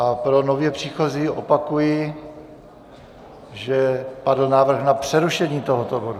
A pro nově příchozí opakuji, že padl návrh na přerušení tohoto bodu.